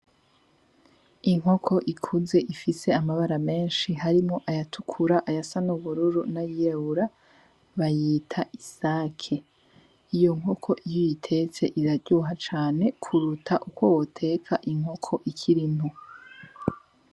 Inkoko ikuze ifise amabara menshi. Harimwo ayatukura, ayasa n'ubururu, n'ayirabura, bayita Isake. Iyo nkoko iyo uyitetse iraryoha cane kuruhandi uko woteka inkoko ikiri ngo.